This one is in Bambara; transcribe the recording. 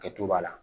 Kɛcogo b'a la